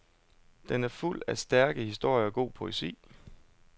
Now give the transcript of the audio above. Den er fuld af stærke historier og god poesi.